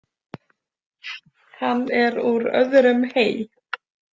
Hann er úr öðrum hei.